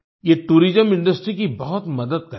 ये tourism industry की बहुत मदद करेगा